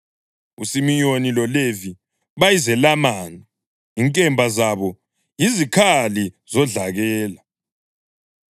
USimiyoni loLevi bayizelamani inkemba zabo yizikhali zodlakela.